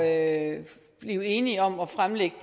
at blive enige om at fremlægge